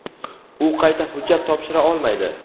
u qayta hujjat topshira olmaydi.